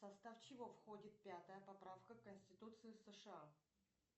в состав чего входит пятая поправка конституции сша